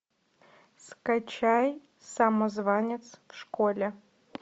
скачай самозванец в школе